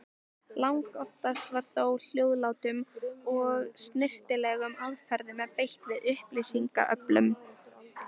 Langoftast var þó hljóðlátum og snyrtilegum aðferðum beitt við upplýsingaöflun.